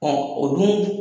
o dun